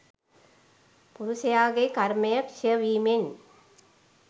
පුරුෂයාගේ කර්මය ක්ෂය වීමෙන්